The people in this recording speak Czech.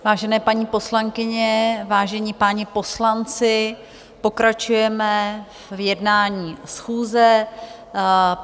Vážené paní poslankyně, vážení páni poslanci, pokračujeme v jednání schůze.